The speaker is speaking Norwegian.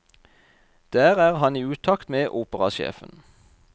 Der er han i utakt med operasjefen.